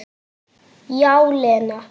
Já, Lena.